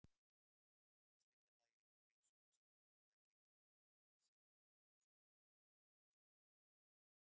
Í þriðja lagi hefur heilsugæslunni víða gengið treglega að sinna þörfum sjúklinga fyrir þjónustu.